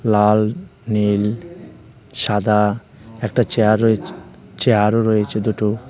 লাল নীল সাদা একটা চেয়ার রয়েছে চেয়ারও রয়েছে দুটো দুটো .